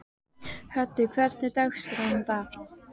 Höddi, hvernig er dagskráin í dag?